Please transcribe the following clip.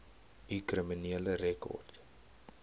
u kriminele rekord